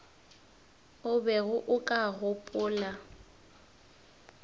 o bego o ka gopola